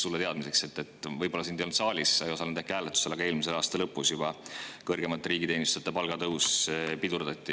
Sulle teadmiseks – võib-olla sind ei olnud siis saalis, sa ei osalenud äkki hääletusel: juba eelmise aasta lõpus kõrgemate riigiteenijate palgatõus pidurdati.